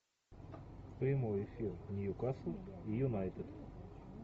прямой эфир ньюкасл юнайтед